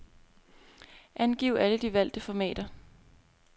Angiv alle de valgte formater.